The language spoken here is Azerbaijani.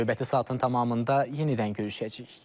Növbəti saatın tamamında yenidən görüşəcəyik.